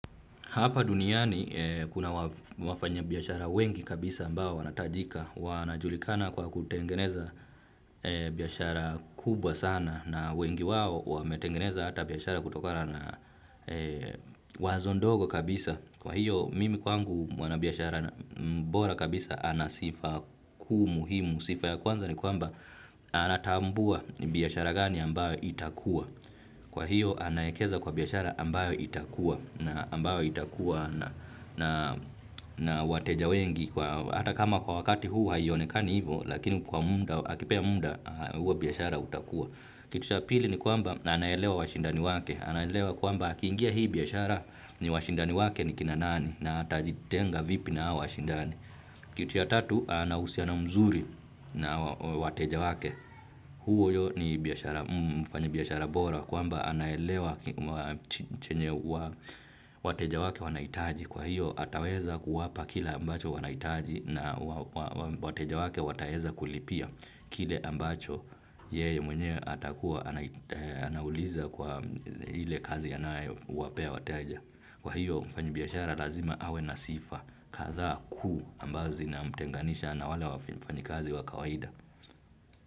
Hapa duniani kuna wafanya biashara wengi kabisa ambao wanahitajika, wanajulikana kwa kutengeneza biashara kubwa sana na wengi wao wametengeneza hata biashara kutokana na wazo ndogo kabisa. Kwa hiyo mimi kwangu mwanabiashara bora kabisa anasifa kuu muhimu, sifa ya kwanza ni kwamba anatambua biashara gani ambayo itakua. Kwa hiyo anaekeza kwa biashara ambayo itakua na wateja wengi hata kama kwa wakati huu hayonekani hivo lakini kwa munda, akipea muda huwa biashara utakua. Kitu cha pili ni kwamba anaelewa washindani wake anaelewa kwamba akiingia hii biashara ni washindani wake ni kina nani na hata jitenga vipi na hao washindani. Kitu ya tatu anahusiano mzuri na wateja wake. Huyo ni mfanya biashara bora kwamba anaelewa chenye wateja wake wanaitaji kwa hiyo ataweza kuwapa kila ambacho wanaitaji na wateja wake wataeza kulipia kile ambacho yeye mwenye atakuwa anauliza kwa ile kazi anae wapea wateja. Kwa hiyo mfanya biashara lazima awe na sifa kadhaa kuu ambazo zina mtenganisha na wale wafanyi kazi wa kawaida.